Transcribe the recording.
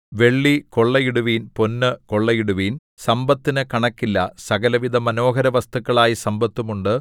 വെള്ളി കൊള്ളയിടുവിൻ പൊന്ന് കൊള്ളയിടുവിൻ സമ്പത്തിനു കണക്കില്ല സകലവിധ മനോഹരവസ്തുക്കളായ സമ്പത്തും ഉണ്ട്